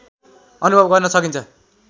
अनुभव गर्न सकिन्छ